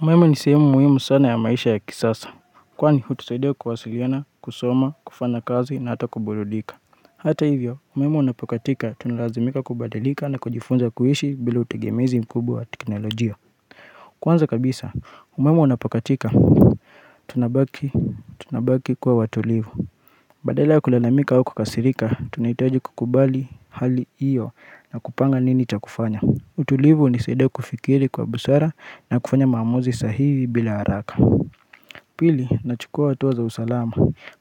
Mwema ni sehemu muhimu sana ya maisha ya kisasa. Kwani hutusaidia kuwasiliana, kusoma, kufanya kazi na hata kuburudika. Hata hivyo, umeme unapokatika tunalazimika kubadalika na kujifunza kuishi bila utegemezi mkubwa wa teknolojia. Kwanza kabisa, umeme unapokatika tunabaki, tunabaki kuwa watulivu. Badala ya kulalamika wa kukasirika, tunahitaji kukubali hali hiyo na kupanga nini cha kufanya. Utulivu hunisaidia kufikiri kwa busara na kufanya maamuzi sahihi bila haraka Pili, nachukua hatua za usalama